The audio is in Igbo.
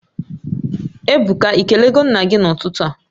Ebuka, Ị kelego nna gị n'ụtụtụ a?